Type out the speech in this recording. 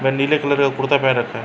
वह नीले कलर का कुर्ता पहन रखा है।